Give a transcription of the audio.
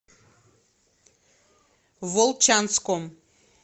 волчанском